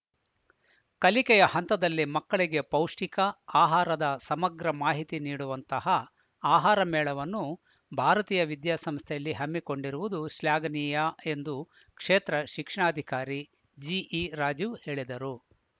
ಕಲಿಕೆಯ ಹಂತದಲ್ಲಿ ಮಕ್ಕಳಿಗೆ ಪೌಷ್ಠಿಕ ಆಹಾರದ ಸಮಗ್ರ ಮಾಹಿತಿ ನೀಡುವಂತಹ ಆಹಾರ ಮೇಳವನ್ನು ಭಾರತೀಯ ವಿದ್ಯಾಸಂಸ್ಥೆಯಲ್ಲಿ ಹಮ್ಮಿಕೊಂಡಿರುವುದು ಶ್ಲಾಘನೀಯ ಎಂದು ಕ್ಷೇತ್ರ ಶಿಕ್ಷಣಾಧಿಕಾರಿ ಜಿಇ ರಾಜೀವ್‌ ಹೇಳಿದರು